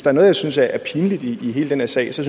er noget jeg synes er pinligt i hele den her sag så